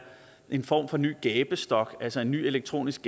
en form for ny gabestok altså en ny elektronisk